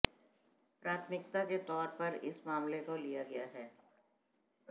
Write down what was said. प्राथमिकता के तौर पर इस मामले को लिया गया है